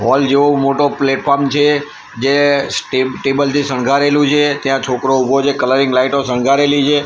Hall જેવો મોટો platform છે જે સ્ટ ટેબલ થી સંગારેલું છે ત્યાં છોકરો ઉભો છે કલરિંગ લાઈટો સંગારેલી છે.